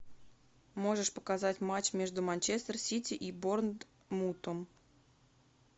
можешь показать матч между манчестер сити и борнмутом